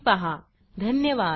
सहभागाबद्दल धन्यवाद